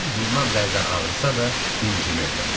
Bədənim bundan bəzən ağrısa da, incimirdim.